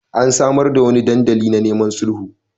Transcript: An samar da wani dandali na neman sulhu.